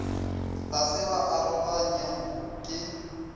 ga se ba aroganywa ke